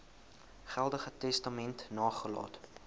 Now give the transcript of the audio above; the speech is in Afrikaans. geldige testament nagelaat